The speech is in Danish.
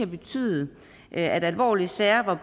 betyde at alvorlige sager hvor